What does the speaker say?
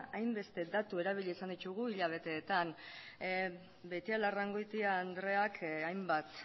hainbeste datu erabili izan ditugu hilabeteetan beitialarrangoitia andreak hainbat